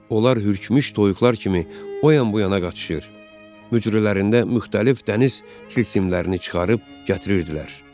Onlar hürkmüş toyuqlar kimi o yan bu yana qaçışır, mücrülərində müxtəlif dəniz tilsimlərini çıxarıb gətirirdilər.